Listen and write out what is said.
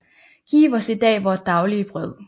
Giv os i dag vort daglige brød